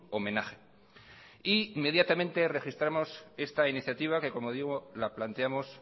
homenaje e inmediatamente registramos esta iniciativa que como digo la planteamos